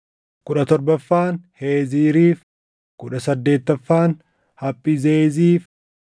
kudha torbaffaan Heeziiriif, kudha saddeettaffaan Haphizeeziif,